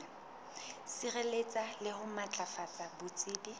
sireletsa le ho matlafatsa botsebi